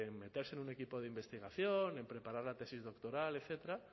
meterse en un equipo de investigación en preparar la tesis doctoral etcétera